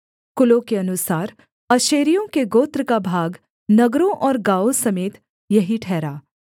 कुलों के अनुसार आशेरियों के गोत्र का भाग नगरों और गाँवों समेत यही ठहरा